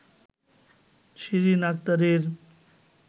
শিরিন আক্তারের